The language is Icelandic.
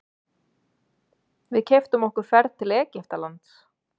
Við keyptum okkur ferð til Egyptalands.